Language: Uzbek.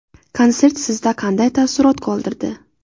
Konsert sizda qanday taassurot qoldirdi?